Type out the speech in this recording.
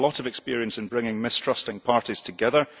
We have a lot of experience in bringing mistrusting parties together.